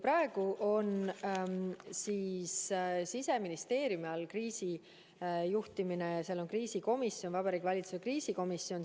Praegu on kriisi juhtimine Siseministeeriumi all, seal on kriisikomisjon, Vabariigi Valitsuse kriisikomisjon.